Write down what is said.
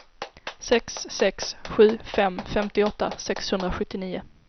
sex sex sju fem femtioåtta sexhundrasjuttionio